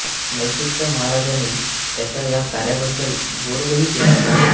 म्हैसूरच्या महाराजानी त्यांचा या कार्याबद्दल गाैरवही केला होता